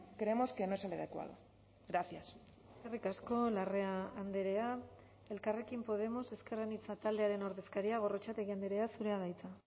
creemos que no es el adecuado gracias eskerrik asko larrea andrea elkarrekin podemos ezker anitza taldearen ordezkaria gorrotxategi andrea zurea da hitza